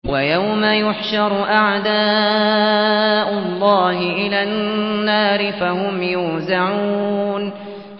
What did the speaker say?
وَيَوْمَ يُحْشَرُ أَعْدَاءُ اللَّهِ إِلَى النَّارِ فَهُمْ يُوزَعُونَ